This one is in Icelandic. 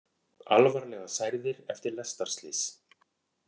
Alvarlega særðir eftir lestarslys